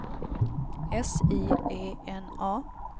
S I E N A